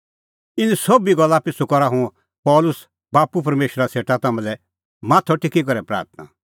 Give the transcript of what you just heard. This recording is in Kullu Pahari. इना सोभी गल्ला पिछ़ू करा हुंह पल़सी बाप्पू परमेशरा सेटा तम्हां लै माथअ टेकी करै प्राथणां